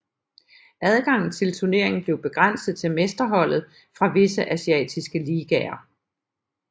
Adgangen til turneringen blev begrænset til mesterholdet fra visse asiatiske ligaer